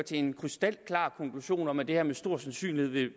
til en krystalklar konklusion om at det her med stor sandsynlighed vil